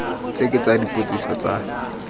tse ke tsa dipotsiso tsa